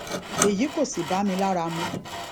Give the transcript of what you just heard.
èyí kò sì bá mi lára mu